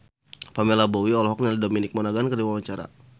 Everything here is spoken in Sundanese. Pamela Bowie olohok ningali Dominic Monaghan keur diwawancara